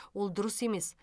ол дұрыс емес